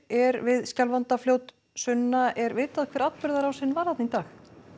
er við Skjálfandafljót Sunna er vitað hver atburðarásin var í dag